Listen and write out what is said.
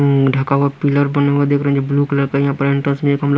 अ ढका हुआ पिलर बना हुआ देख रहे हैं जो ब्लू का यहाँ पे हम लोग--